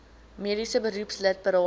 mediese beroepslid berading